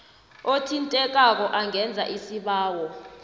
othintekako angenza isibawo